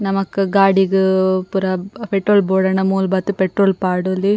ನಮಕ್ ಗಾಡಿಗ್ ಪೂರ ಪೆಟ್ರೋಲ್ ಬೋಡಾಂಡ ಮೂಲು ಬತ್ತ್ ಪೆಟ್ರೋಲ್ ಪಾಡೊಲಿ.